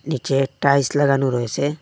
নীচে টাইস লাগানো রয়েসে।